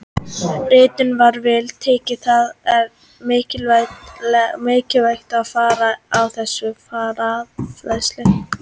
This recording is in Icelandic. Ritinu var vel tekið og það er mikilvægt framlag á þessu fræðasviði.